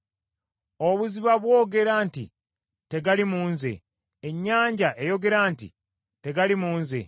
Obuziba bwogera nti, ‘Tegali mu nze,’ ennyanja eyogera nti, ‘Tegali mu nze.’